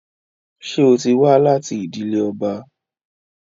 Ṣé ó ti wá láti ìdílé ọba?